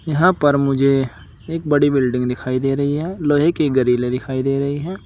यहां पर मुझे एक बड़ी बिल्डिंग दिखाई दे रही है लोहे की गरीले दिखाई दे रही है।